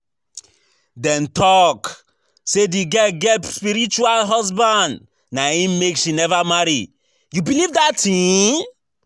Dem talk say the girl get spiritual husband na im make she never marry, you believe dat thing?